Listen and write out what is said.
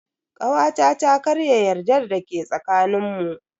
Kawata ta karya yardar da ke tsakanin mu.